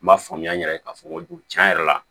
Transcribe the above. N b'a faamuya n yɛrɛ ye k'a fɔ n ko cɛn yɛrɛ la